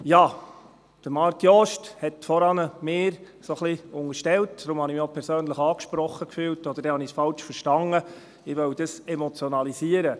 Ja, Marc Jost hat mir vorhin ein wenig unterstellt – deshalb habe ich mich auch persönlich angesprochen gefühlt oder habe es falsch verstanden –, ich wolle dies emotionalisieren.